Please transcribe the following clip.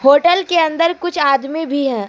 Hotel के अंदर कुछ आदमी भी हैं।